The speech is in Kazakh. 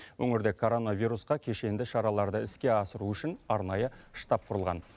өңірде коронавирусқа кешенді шараларды іске асыру үшін арнайы штаб құрылған